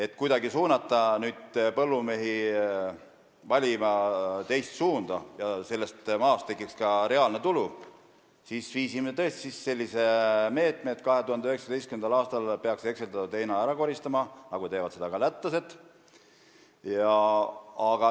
Et kuidagi suunata põllumehi valima teist teed, nii et maast tekiks ka reaalne tulu, võtsime tõesti kasutusele sellise meetme, et 2019. aastal peaks hekseldatud heina ära koristama, nii nagu teevad lätlased.